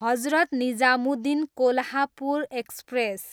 Hazrat Nizamuddin, Kolhapur express